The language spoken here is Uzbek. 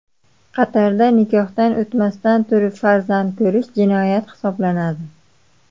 Qatarda nikohdan o‘tmasdan turib farzand ko‘rish jinoyat hisoblanadi.